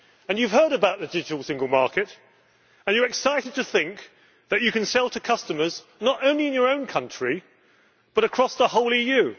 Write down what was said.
You have heard about the digital single market, and you are excited to think that you can sell to customers not only in your own country, but across the whole EU.